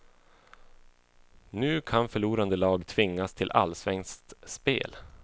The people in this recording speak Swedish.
Nu kan förlorande lag tvingas till allsvenskt spel.